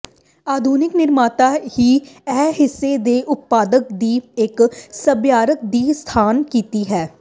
ਆਧੁਨਿਕ ਨਿਰਮਾਤਾ ਹੀ ਇਹ ਹਿੱਸੇ ਦੇ ਉਤਪਾਦਨ ਦੀ ਇੱਕ ਸਭਿਆਚਾਰ ਦੀ ਸਥਾਪਨਾ ਕੀਤੀ ਹੈ